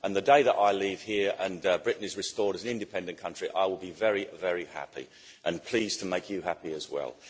The day that I leave here and Britain is restored as an independent country, I will be very, very happy, and pleased to make you happy as well.